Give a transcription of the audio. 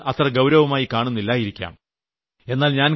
എന്നാൽ നിങ്ങൾ അത് അത്ര ഗൌരവമായി കാണുന്നില്ലായിരിക്കാം